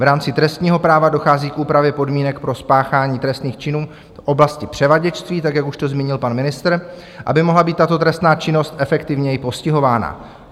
V rámci trestního práva dochází k úpravě podmínek pro spáchání trestných činů v oblasti převaděčství, tak jak už to zmínil pan ministr, aby mohla být tato trestná činnost efektivněji postihována.